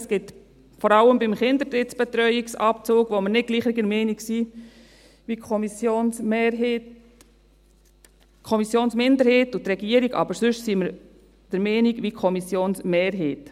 Wir sind vor allem beim Kinderdrittbetreuungsabzug nicht gleicher Meinung wie die Kommissionsmehrheit – die Kommissionsminderheit und die Regierung, aber sonst sind wir der gleichen Meinung wie die Kommissionsmehrheit.